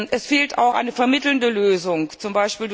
Es fehlt auch eine vermittelnde Lösung,